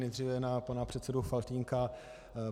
Nejdříve na pana předsedu Faltýnka.